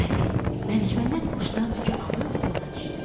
Bəli, Məlikməmməd quşdan tükü alıb yola düşdü.